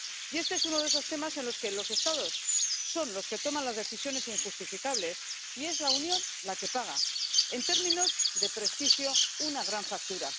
Y este es uno de esos temas en los que los Estados son los que toman las decisiones injustificables y es la Unión la que paga, en términos de prestigio, una gran factura.